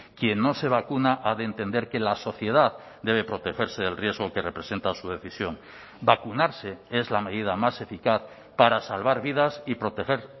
quien no se vacuna ha de entender que la sociedad debe protegerse del riesgo que representa su decisión vacunarse es la medida más eficaz para salvar vidas y proteger